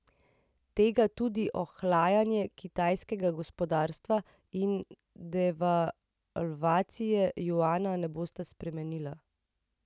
Tega tudi ohlajanje kitajskega gospodarstva in devalvacija juana ne bosta spremenila.